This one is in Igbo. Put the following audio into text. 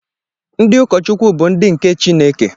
Ndị ụkọchukwu bụ ndị nke Chineke.